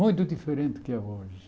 Muito diferente do que é hoje.